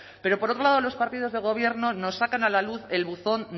pero por otro lado los partidos de gobierno nos sacan a la luz el buzón